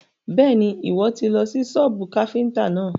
Bẹ́ẹ̀ni, Ìwọ́ tì lọ sí sọ́bù káfíntà náà.